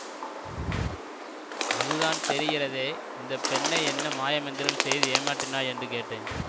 அதுதான் தெரிகிறதே இந்த பெண்ணை என்ன மாயமந்திரம் செய்து ஏமாற்றினாய் என்று கேட்டேன்